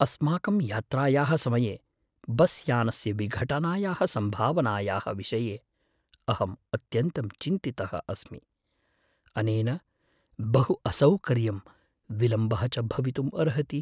अस्माकं यात्रायाः समये बस्यानस्य विघटनायाः सम्भावनायाः विषये अहम् अत्यन्तं चिन्तितः अस्मि; अनेन बहु असौकर्यं विलम्बः च भवितुम् अर्हति।